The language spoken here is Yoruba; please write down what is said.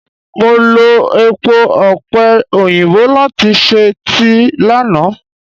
Mo lo èpo ọ̀pẹ̀ òyìnbó láti ṣe tíì lánàá.